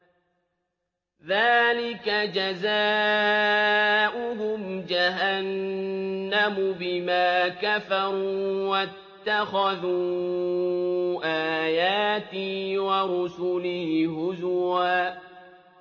ذَٰلِكَ جَزَاؤُهُمْ جَهَنَّمُ بِمَا كَفَرُوا وَاتَّخَذُوا آيَاتِي وَرُسُلِي هُزُوًا